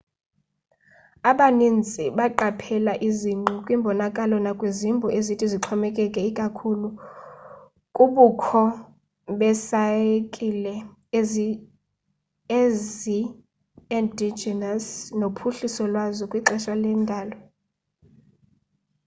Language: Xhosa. abanintsi baqaphela izingqi kwimbonakalo nakwizimbo ezithi zixhomekeke ikakhulu kubukho be saykile ezi endogenous nophuhliso lwazo kwixesha lwendalo